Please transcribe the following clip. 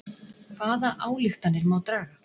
Hvaða ályktanir má draga?